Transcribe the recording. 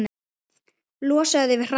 Losaðu þig við hratið.